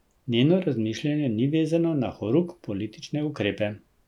Njeno razmišljanje ni vezano na horuk politične ukrepe.